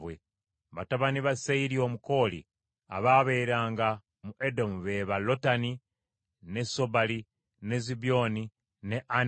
Batabani ba Seyiri Omukooli abaabeeranga mu Edomu be ba Lotani, ne Sobali, ne Zibyoni, ne Ana,